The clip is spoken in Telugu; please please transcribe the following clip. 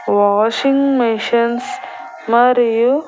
వాషింగ్ మేషన్స్ మరియు--